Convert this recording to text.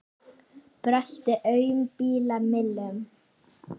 Brölti aum bíla millum.